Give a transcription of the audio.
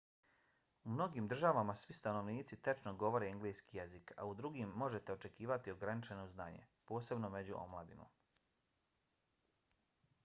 u mnogim državama svi stanovnici tečno govore engleski jezik a u drugim možete očekivati ograničeno znanje - posebno među omladinom